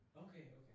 Okay okay